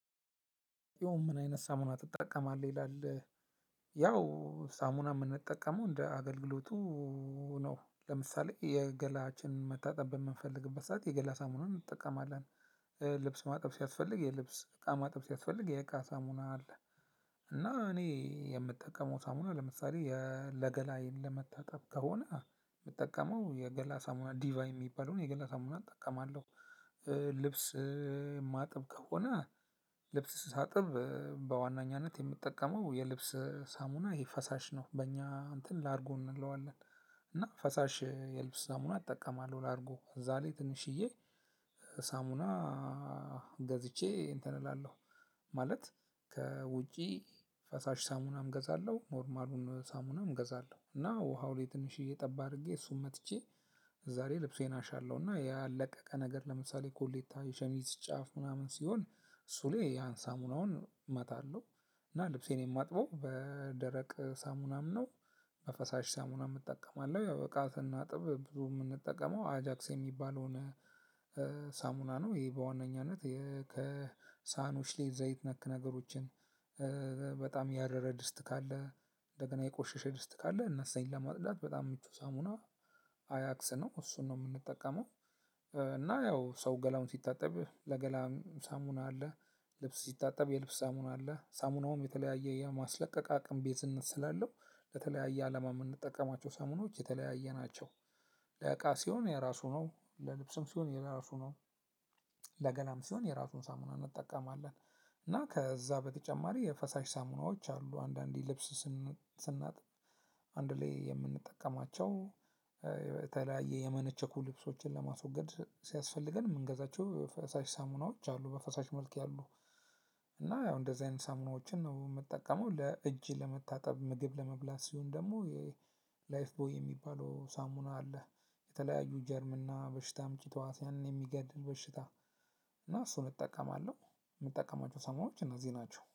ያውም ምን አይነት ሳሙና ትጠቀማለህ ይላል? ያው ሳሙና የምንጠቀመው እንደ አገልግሎቱ ነው። ለምሳሌ የገላችን መታጠብ በምንፈልግበት ሰዓት የገላ ሳሙናን እንጠቀማለን። ልብስ ማጥበቅ ሲያስፈልግ የልብስ እቃ ማጥበቅ ሲያስፈልግ የእቃ ሳሙና አለ። እና እኔ የምጠቀመው ሳሙና ለምሳሌ ለገላዬን ለመታጠብ ከሆነ የምጠቀመው የገላ ሳሙና ዲቫ የሚባለውን የገላ ሳሙና እጠቀማለሁ። ልብስ የማጥብ ከሆነ ልብስ ሳጥብ በዋናኛነት የምጠቀመው የልብስ ሳሙና ይሄ ፈሳሽ ነው በእኛ እንትን ላርጎ እንለዋለን። እና ፈሳሽ የልብስ ሳሙና እጠቀማለሁ ላርጎ እዛ ላይ ትንሽዬ ሳሙና ገዝቼ እንትን እላለሁ። ማለት ከውጪ ፈሳሽ ሳሙናም ገዛለሁ ኖርማሉን ሳሙናም ገዛለሁ እና ውሃው ላይ ትንሽዬ ጠብ አድርጌ እሱን መትቼ። እዛ ላይ ልብሴን አሻለሁና ያልለቀቀ ነገር ለምሳሌ ኮሌታ የሸሚዝ ጫፍ ምናምን ሲሆን እሱ ላይ ያን ሳሙናውን እመታለሁ። እና ልብሴን የማጥበው በደረቅ ሳሙናም ነው። በፈሳሽ ሳሙናም እጠቀማለሁ ያው እቃ ስናጥብ ብዙ የምንጠቀመው አጃክስ የሚባለውን ሳሙና ነው። ይሄ በዋነኛነት ከሳኑሽሌ ዘይት ነክ ነገሮችን በጣም ያረረ ድስት ካለ እንደገና የቆሸሸ ድስት ካለ እነሱን ለማጥራት በጣም ምቹ ሳሙና አጃክስ ነው እሱን ነው የምንጠቀመው። እና ያው ሰው ገላውን ስታጠብ ለገላም ሳሙና አለ። ልብስ ስታጠብ የልብስ ሳሙና አለ ሳሙናውም የተለያየ የማስለቀቅ አቅመ ቤዝኔት ስላለው ለተለያየ አላማ የምንጠቀማቸው ሳሙናዎች የተለያየ ናቸው። ለእቃ ሲሆን የራሱ ነው ለልብስም ሲሆን የራሱ ነው። ለገላም ሲሆን የራሱን ሳሙና እንጠቀማለን። እና ከዛ በተጨማሪ የፈሳሽ ሳሙናዎች አሉ አንዳንዴ ልብስ ስናጥ አንድ ላይ የምንጠቀማቸው የተለያየ የመነቸኩ ልብሶችን ለማስወገድ ሲያስፈልገን የምንገዛቸው ፈሳሽ ሳሙናዎች አሉ። በፈሳሽ መልክ ያሉ እና ያው እንደዚህ አይነት ሳሙናዎችን ነው የምጠቀመው። ለእጅ ለመታጠብ ምግብ ለመብላት ሲሆን ደግሞ የ ላይፍ ቦይ የሚባለው ሳሙና አለ። የተለያዩ ጀርምና በሽታም ተህዋስያንን የሚገድል በሽታ እና እሱን እጠቀማለሁ። የምጠቀማቸው ሳሙናዎች እነዚህ ናቸው